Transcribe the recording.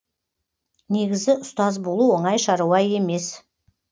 негізі ұстаз болу оңай шаруа емес